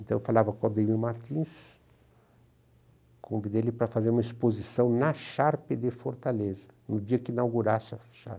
Então eu falava com o Aldemir Martins, convidei ele para fazer uma exposição na Sharp de Fortaleza, no dia que inaugurasse a Sharp.